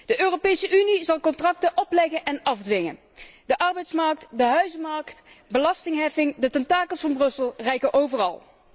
De Europese Unie zal contracten opleggen en afdwingen. De arbeidsmarkt, de huizenmarkt, belastingheffing, de tentakels van Brussel reiken overal.